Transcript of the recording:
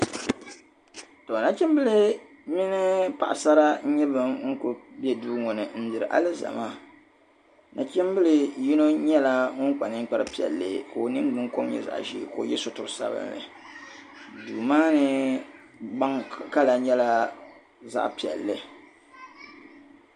To nachimbili mini paɣa sara n nyɛ ban kuli be duu ŋɔ n luhiri alizama nachimbili yino nyɛla ŋun kpa ninkpari piɛla ka o nin gbun kom nyɛ zaɣa ʒee ka o ye suturi sabinli duu maani gban kala nyɛla zaɣa piɛli